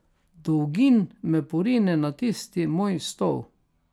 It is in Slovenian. Dolgin me porine na tisti moj stol.